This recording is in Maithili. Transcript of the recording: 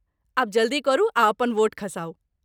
आब जल्दी करू आ अपन वोट खसाउ।